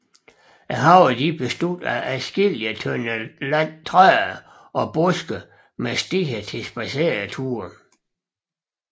Haverne bestod af adskillige tønder land træer og buske med stier til spadsereture